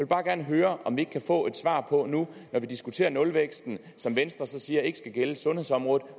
bare gerne høre om vi ikke nu kan få et svar på når vi diskuterer nulvæksten som venstre så siger ikke skal gælde sundhedsområdet